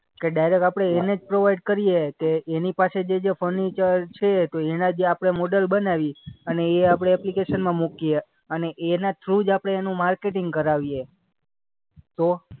કે ડાયરેક્ટ આપણે એને જ પ્રોવાઈડ કરીએ કે એની પાસે જે-જે ફર્નિચર છે તો એના જે આપણે મોડલ બનાવી અને એ આપણે એપ્લિકેશનમાં મૂકીએ અને એના થ્રુ જ આપણે એનું માર્કેટિંગ કરાવીએ. તો?